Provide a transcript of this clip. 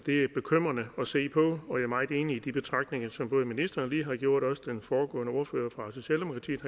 er bekymrende at se på og jeg er meget enig i de betragtninger som både ministeren og den foregående ordfører fra socialdemokratiet